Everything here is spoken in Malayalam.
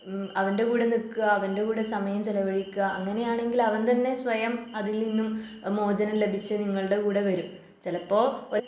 ഉം അവൻ്റെ കൂടെ നിൽക്കുക അവൻ്റെ കൂടെ സമയം ചിലവഴിക്കുക അങ്ങനെയാണെങ്കില് അവൻ തന്നെ സ്വയം അതിൽനിന്നും മോചനം ലഭിച്ച് നിങ്ങളുടെ കൂടെ വരും. ചിലപ്പോ ഒ